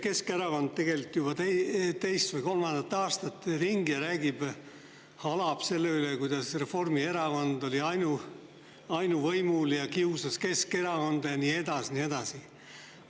Keskerakond käib tegelikult juba teist või kolmandat aastat ringi ja halab selle üle, kuidas Reformierakond oli ainuvõimul ja kiusas Keskerakonda ja nii edasi.